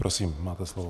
Prosím, máte slovo.